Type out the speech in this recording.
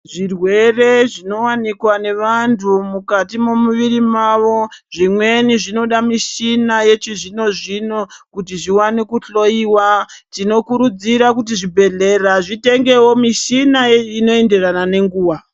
Zvirwere zvinowanikwa nevantu mukati mwemuviri mavo, zvimweni zvinoda mishina yechizvino zvino kuti zviwane kuhloyiwa. Tinokurudzira kuti zvibhedhlera zvitengewo mishina inoenderana nenguwa.